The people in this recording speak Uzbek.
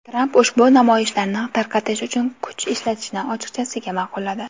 Tramp ushbu namoyishlarni tarqatish uchun kuch ishlatishni ochiqchasiga ma’qulladi.